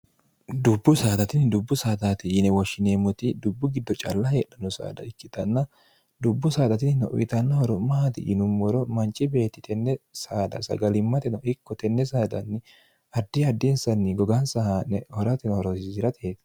dubbu saada tinni dubbu saataati yine woshshineemmoti dubbu giddo calla heedhano saada ikkitanna dubbu saada tinnino uyitanno horo maati yinummoro manchi beetti tenne saada sagalimmate no ikko tenne saadanni addi addinsanni gogaansa haa'ne horote horoonsirate